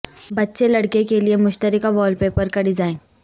بچے لڑکے کے لئے مشترکہ وال پیپر کا ڈیزائن